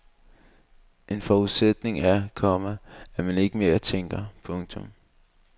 En forudsætning er, komma at man ikke mere tænker. punktum